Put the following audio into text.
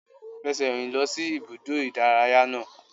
Fẹsẹ̀ rìn lọ sí ibùdó ìdárayá náà!